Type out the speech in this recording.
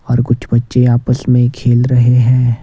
और कुछ बच्चे आपस में खेल रहे हैं।